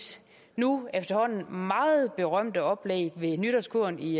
nu efterhånden meget berømte oplæg ved nytårskuren i